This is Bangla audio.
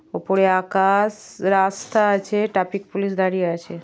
ওপরে আকাশ-শ রাস্তা আছে ট্রাফিক পুলিশ দাঁড়িয়ে আছে।